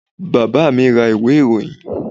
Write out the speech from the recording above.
Bàbá mi ra ìwé ìròyìn.